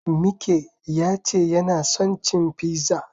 Mike ya ce yana son cin fizza.